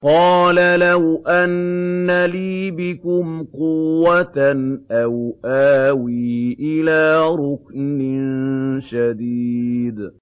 قَالَ لَوْ أَنَّ لِي بِكُمْ قُوَّةً أَوْ آوِي إِلَىٰ رُكْنٍ شَدِيدٍ